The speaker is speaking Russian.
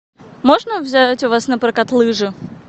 можно взять у вас напрокат лыжи